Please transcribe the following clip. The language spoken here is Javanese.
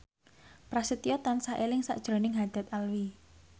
Prasetyo tansah eling sakjroning Haddad Alwi